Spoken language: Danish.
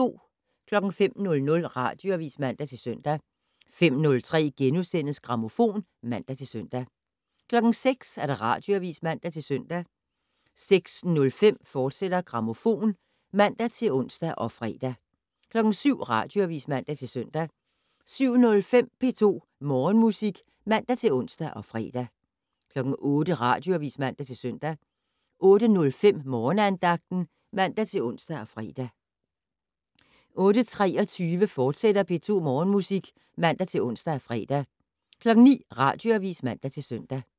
05:00: Radioavis (man-søn) 05:03: Grammofon *(man-søn) 06:00: Radioavis (man-søn) 06:05: Grammofon, fortsat (man-ons og fre) 07:00: Radioavis (man-søn) 07:05: P2 Morgenmusik (man-ons og fre) 08:00: Radioavis (man-søn) 08:05: Morgenandagten (man-ons og fre) 08:23: P2 Morgenmusik, fortsat (man-ons og fre) 09:00: Radioavis (man-søn)